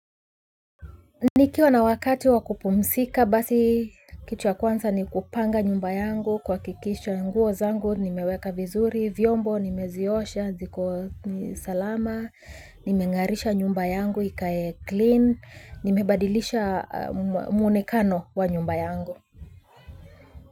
Nikiwa na wakati wakupumzika basi kitu ya kwanza ni kupanga nyumba yangu, kuhakikisha nguo zangu nimeweka vizuri, vyombo nimeziosha ziko salama nimengarisha nyumba yangu ikae clean, nimebadilisha muonekano wa nyumba yangu.